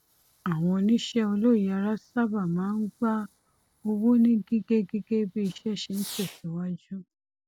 àwọn oníṣẹ olóyèara sábà máa ń gba owó ni gígẹ gígẹ bí iṣẹ ṣe ń tẹsíwájú